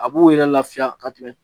A b'u yɛrɛ lafiya ka tɛmɛ